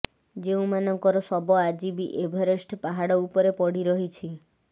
ଯେଉଁମାନଙ୍କର ଶବ ଆଜି ବି ଏଭରେଷ୍ଟ ପାହାଡ଼ ଉପରେ ପଡ଼ିରହିଛି